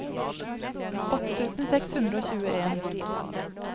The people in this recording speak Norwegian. åtte tusen seks hundre og tjueen